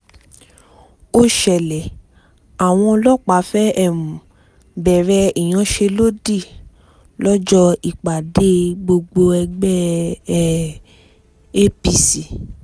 ó ṣẹlẹ̀ àwọn ọlọ́pàá fẹ́ẹ́ um bẹ̀rẹ̀ ìyanṣẹ́lódì lọ́jọ́ ìpàdé gbọgbẹ̀ọ́ ẹgbẹ́ um apc